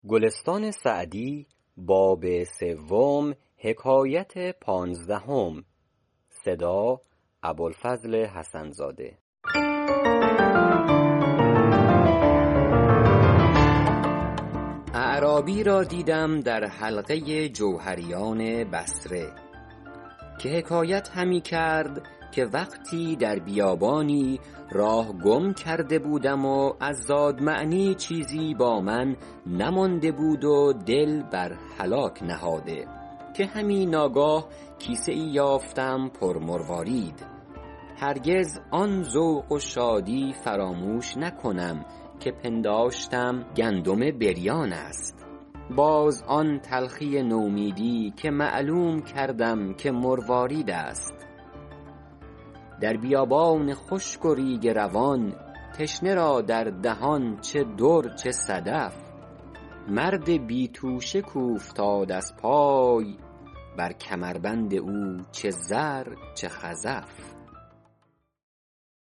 اعرابی را دیدم در حلقه جوهریان بصره که حکایت همی کرد که وقتی در بیابانی راه گم کرده بودم و از زاد معنیٰ چیزی با من نمانده بود و دل بر هلاک نهاده که همی ناگاه کیسه ای یافتم پر مروارید هرگز آن ذوق و شادی فراموش نکنم که پنداشتم گندم بریان است باز آن تلخی و نومیدی که معلوم کردم که مروارید است در بیابان خشک و ریگ روان تشنه را در دهان چه در چه صدف مرد بی توشه کاوفتاد از پای بر کمربند او چه زر چه خزف